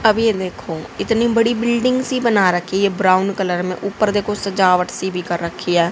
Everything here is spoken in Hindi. अब ये देखो इतनी बड़ी बिल्डिंग सी बना रखी है ब्राउन कलर में ऊपर देखो सजावट सी भी कर रखी है।